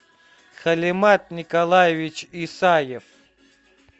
халимат николаевич исаев